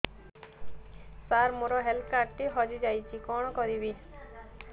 ସାର ମୋର health card ଟି ହଜି ଯାଇଛି କଣ କରିବି